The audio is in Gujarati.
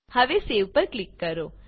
હવે સેવ પર ક્લિક કરો